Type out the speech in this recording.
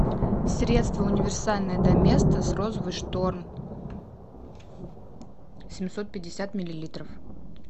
средство универсальное доместос розовый шторм семьсот пятьдесят миллилитров